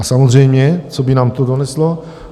A samozřejmě, co by nám to doneslo?